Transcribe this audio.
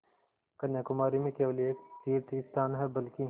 कन्याकुमारी में केवल एक तीर्थस्थान है बल्कि